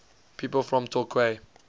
people from torquay